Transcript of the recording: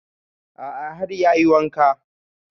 A'a har ya yi wanka